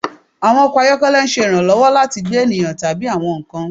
Awọn ọkọ ayọkẹlẹ ṣe iranlọwọ lati gbe eniyan tabi awọn nkan